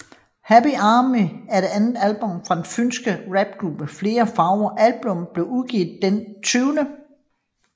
Happy Army er det andet album fra den fynske rapgruppe Fler Farver Albummet blev udgivet den 20